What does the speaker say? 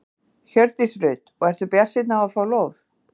Hjördís Rut: Og ertu bjartsýnn á það að fá lóð?